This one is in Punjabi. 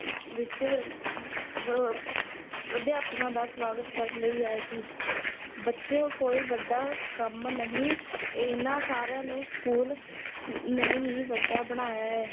ਵਿੱਚ ਅਮ ਵ ਅਧਿਆਪਕਾਂ ਦਾ ਸਵਾਗਤ ਕਰਨ ਲਈ ਆਏ ਸੀ ਬੱਚਿਓ ਕੋਈ ਵੱਡਾ ਕੰਮ ਨਹੀਂ, ਇਹਨਾਂ ਸਾਰਿਆਂ ਨੂੰ school ਨੇ ਹੀ ਵੱਡਾ ਬਣਾਇਆ ਹੈ,